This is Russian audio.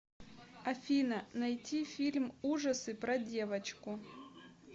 афина найти фильм ужасы про девочку